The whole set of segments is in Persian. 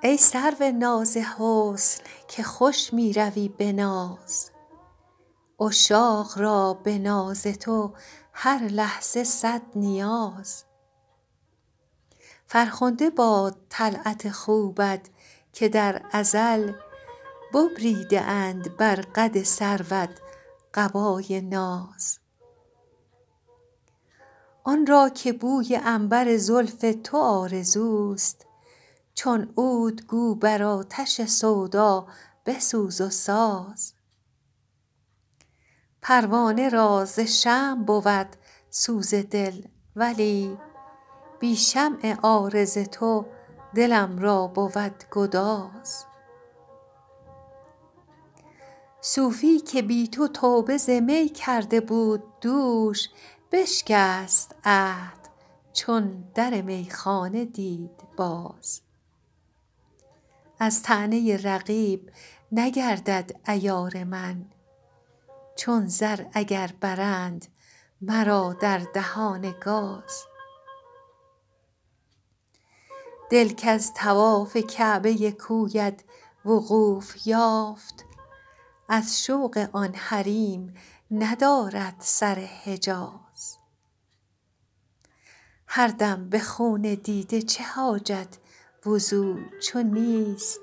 ای سرو ناز حسن که خوش می روی به ناز عشاق را به ناز تو هر لحظه صد نیاز فرخنده باد طلعت خوبت که در ازل ببریده اند بر قد سروت قبای ناز آن را که بوی عنبر زلف تو آرزوست چون عود گو بر آتش سودا بسوز و ساز پروانه را ز شمع بود سوز دل ولی بی شمع عارض تو دلم را بود گداز صوفی که بی تو توبه ز می کرده بود دوش بشکست عهد چون در میخانه دید باز از طعنه رقیب نگردد عیار من چون زر اگر برند مرا در دهان گاز دل کز طواف کعبه کویت وقوف یافت از شوق آن حریم ندارد سر حجاز هر دم به خون دیده چه حاجت وضو چو نیست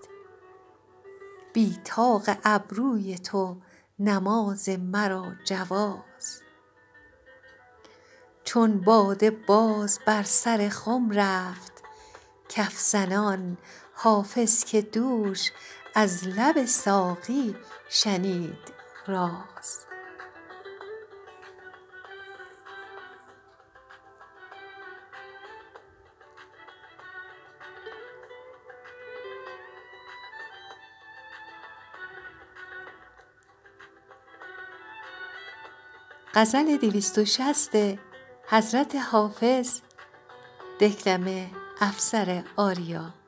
بی طاق ابروی تو نماز مرا جواز چون باده باز بر سر خم رفت کف زنان حافظ که دوش از لب ساقی شنید راز